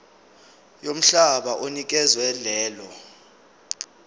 yomhlaba onikezwe lelo